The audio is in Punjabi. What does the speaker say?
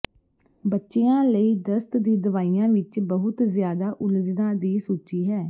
ਬੱਚਿਆਂ ਲਈ ਦਸਤ ਦੀ ਦਵਾਈਆਂ ਵਿੱਚ ਬਹੁਤ ਜ਼ਿਆਦਾ ਉਲਝਣਾਂ ਦੀ ਸੂਚੀ ਹੈ